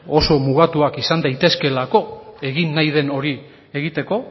oso mugatuak izan daitezkeelako egin nahi den hori egiteko